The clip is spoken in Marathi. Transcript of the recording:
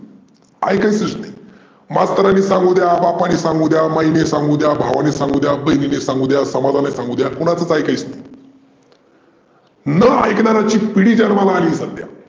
ऐकायचंच नाही. म्हातार्‍याने सांगूद्या, बापाने सांगूद्या, माईने सांगूद्या, भावाने सांगूद्या, बहिनीने सांगूद्या, समाजाने सांगुद्या कुणाचंच ऐकायचं नाही. न ऐकणार्‍याची पिढी जन्माला आली सध्या.